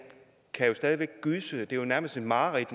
jo nærmest et mareridt